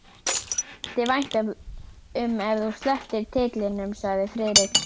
Mér þætti vænt um ef þú slepptir titlinum sagði Friðrik.